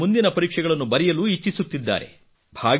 ಇನ್ನೂ ಮುಂದಿನ ಪರೀಕ್ಷೆಗಳನ್ನು ಬರಯಲು ಇಚ್ಛಿಸುತ್ತಿದ್ದಾರೆ